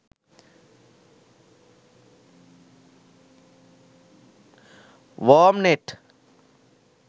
wormnet